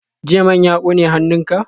Jiya man ya kone hannunka?